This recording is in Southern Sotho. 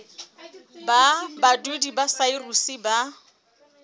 ba badudi ba saruri ba